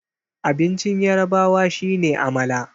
abincin yarabawa shi ne amala